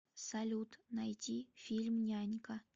салют найти фильм нянька